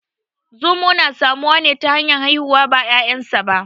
Zomo na samuwa ne ta hanyar haihuwa ba ƙyanƙyasa ba